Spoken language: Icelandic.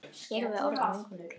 hlaupið á sig?